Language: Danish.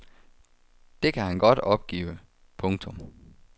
Det kan han godt opgive. punktum